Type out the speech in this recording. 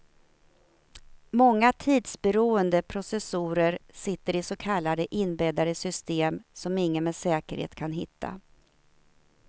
Många tidsberoende processorer sitter i så kallade inbäddade system, som ingen med säkerhet kan hitta.